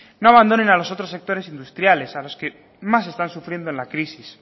no abandonen a los otros sectores industriales a los que más están sufriendo en la crisis